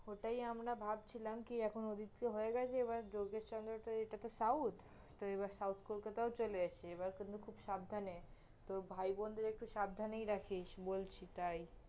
হটাই আমরা ভাবছিলাম কি এখন ওদিকে তহ এবার যোগেশচন্দ্র তহ এটা তহ south তহ এবার south কলকাতায় চলে এসছে, এবার কিন্তু খুব সাবধানে, তোর ভাইবোনদের একটু সাবধানেই রাখিস বলছি তাই